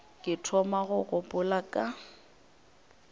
ke thoma go gopola ka